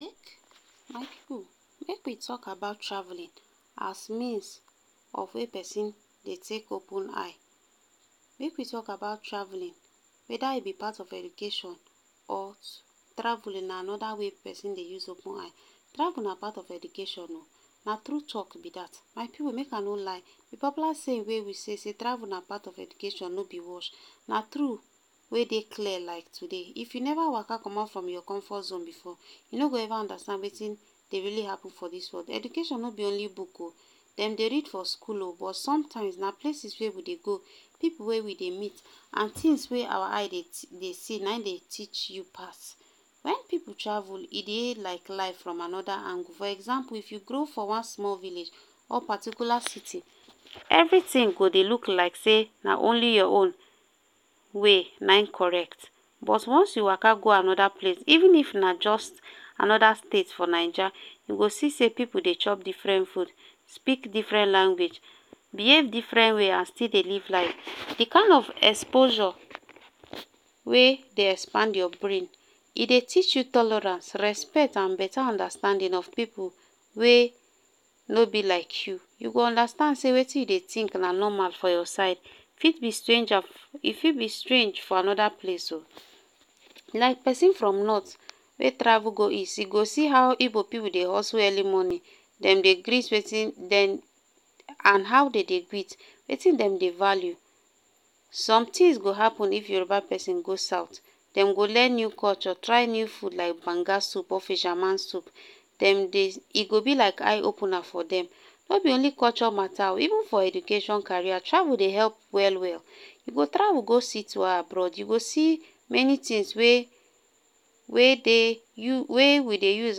My people make we talk about traveling as means of wey persin Dey take open eye, make we talk about traveling, either e b part of education or traveling na anoda wey persin Dey use open eye, travel na part of education o na tru talk b dat, my people make I no lie d popular saying wey we sey travel na part of education no b wash na tru wey Dey clear like today, if u never Waka commot form your comfort zone before u no go ever understand Wetin Dey really happen for dis world, education no b only book o, dem Dey read for school o but sometimes na places wey we Dey go, pipu wey we Dey meet and things wey our eye Dey see na hin Dey teach u pass, wen pipu travel e Dey like life from anoda angle, for example if u grow for one small village, or particular city, everything go Dey look like sey na only your own way na hin correct but once u Waka go anoda place even if na jus Anoda state for naija u go see sey pipu Dey chop different food, speak different language, behave different way and still Dey live life, d kind of exposure wey Dey expand your brain e Dey teach u tolerance, respect and beta understanding of pipu wey no b like u, u go understand sey Wetin u Dey think na normal for your side e fit b stranger e fit be strange for anoda place o, like persin from north wey travel go east, e go see how Igbo pipu Dey hustle early morning and dem Dey greet Wetin dem and how Dem dey greet wetin dem Dey value, somethings go happen if Yoruba persin go south dem go learn new culture try new food like banga soup or fisherman’s soup, Dem dey e go b like eye opener for dem, no b only culture mata o even for education career, travel Dey help well well, u go travel go city or abroad u go see many things wey wey dey u wey we Dey use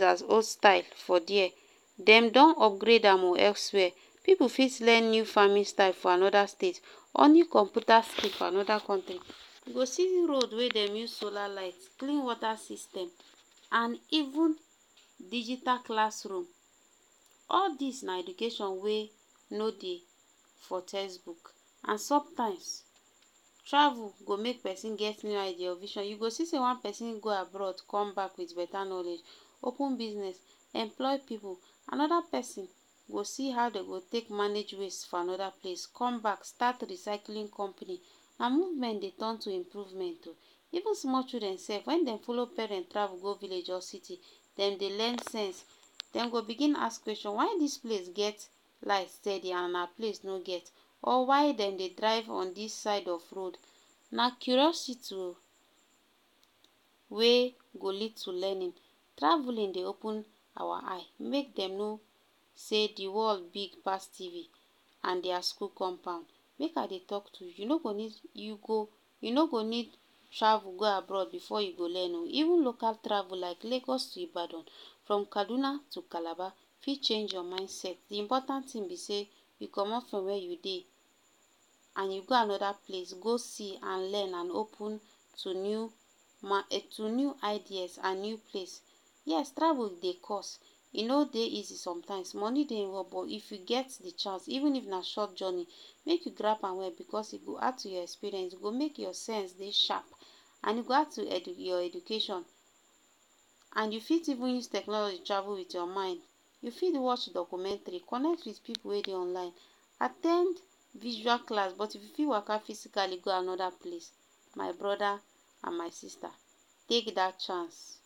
as old style for there, dem don upgrade am o elsewhere, pipu fit learn new farming style for anoda state, honing computer skill for anoda contry, u go see roads wey dem use solar light, clean water system and even digital classroom, all dis na education wey no dey for textbook and sometimes travel go make persin get new idea or vision u go see Dey one person go abroad come back with beta knowledge, open business employ pipu, anoda persin go see how dem go take manage waste for anoda place, comeback start recycling company and movement Dey turn to improvement o,even small children sef wen dem follow parents travel go village or city dem Dey learn sense, dem go begin ask questions, why dis place get light steady and our place no get, or why dem Dey drive on dis side of road, na curiousity o wey go lead to learning, travelling dey open awa eye make dem know sey d world big pass TV and their school compound. Make I Dey talk tru, u no go need u go u no go need travel go abroad o before I go learn o even local travel like Lagos to Ibadan, from kaduna to calabar fit change your mindset d important thing b sey u commot from where u Dey and u go anoda place go see and learn and open to new um to new ideas and new place, yes travel Dey cost e no Dey easy sometimes money Dey involved but if u get d chance even if na short journey make u drive am well because e go add to your experience, e go make your sense Dey sharp and e go add to your your education and u fit even use technology travel with your mind, u fit watch documentary, connect with pipu wey Dey online at ten d visual class but u fit Waka physically go anoda place, my broda and my sista take dat chance.